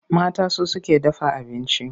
Mata su suke dafa abinci.